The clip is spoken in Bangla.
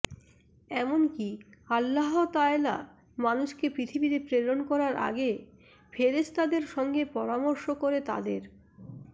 এমনকি আল্লাহতায়ালা মানুষকে পৃথিবীতে প্রেরণ করার আগে ফেরেশতাদের সঙ্গে পরামর্শ করে তাদের